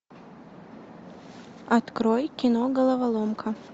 открой кино головоломка